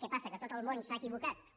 què passa que tot el món s’ha equivocat